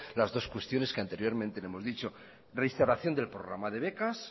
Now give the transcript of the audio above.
las dos cuestiones que anteriormente le hemos dicho reinstauración del programa de becas